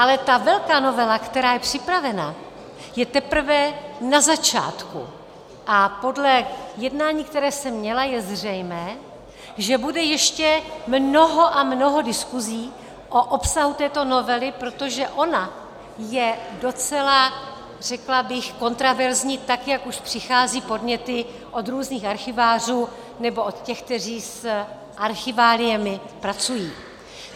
Ale ta velká novela, která je připravena, je teprve na začátku a podle jednání, které jsem měla, je zřejmé, že bude ještě mnoho a mnoho diskusí o obsahu této novely, protože ona je docela, řekla bych, kontroverzní, tak jak už přicházejí podněty od různých archivářů nebo od těch, kteří s archiváliemi pracují.